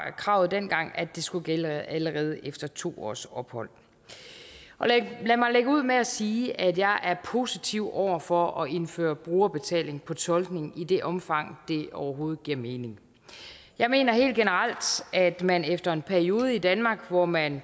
kravet dengang at det skulle gælde allerede efter to års ophold lad mig lægge ud med at sige at jeg er positiv over for at indføre brugerbetaling på tolkning i det omfang det overhovedet giver mening jeg mener helt generelt at man efter en periode i danmark hvor man